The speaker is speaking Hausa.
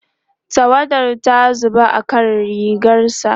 tawada ta zuba akan rigarsa